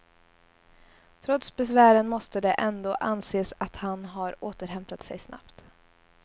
Trots besvären måste det ändå anses att han har återhämtat sig snabbt.